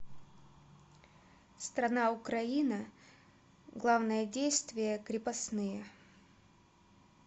страна украина главное действие крепостные